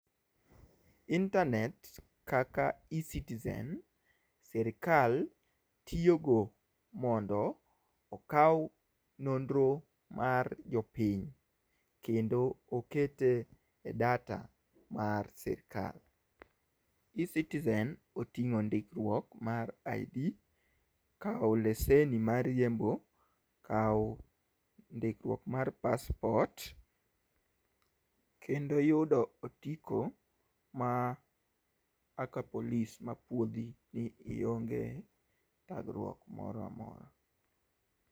Intanet kaka e citizen sirkal tiyogo mondo okaw nonro mar jopiny. Kendo okete e data mar sirkal. E citizen oting'o ndikruok mar ID, kawo lesen mar riembo, kawo ndikruok mar paspot kendo yudo otiko ma kaka police ma puodhi ni ionge thagruok moro amora.